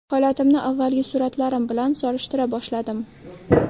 Holatimni avvalgi suratlarim bilan solishtira boshladim.